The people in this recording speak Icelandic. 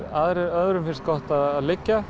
öðrum finnst gott að liggja